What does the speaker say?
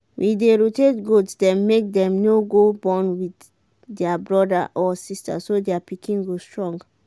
we dey rotate goat dem make dem no go born with their brother or sister so their pikin go strong.